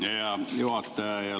Hea juhataja!